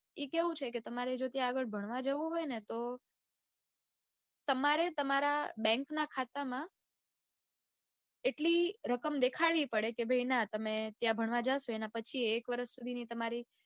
એ કેવું છે કે તમારે જો ત્યાં જાઉં હોય ને ત તમારે તમારા bank ના ખાતામા એટલી દેખાડવી પડે કે ભાઈ ના તમે ત્યાં ભણવા જાસો એના પછીય એક વરસની સુધીની તમારી